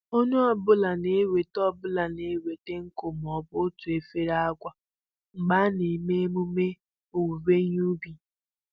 Onye ọbụla na-eweta ọbụla na-eweta nkụ maọbụ otu efere agwa mgbe a na-eme emume owuwe ihe ubi